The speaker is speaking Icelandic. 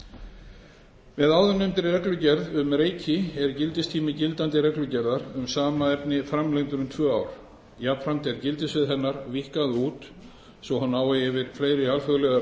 reikireglugerð með áðurnefndri reglugerð um reiki er gildistími gildandi reglugerðar um sama efni framlengdur um tvö ár jafnframt er gildissvið hennar víkkað út svo hún nái yfir fleiri alþjóðlegar